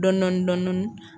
Dɔɔnin dɔɔnin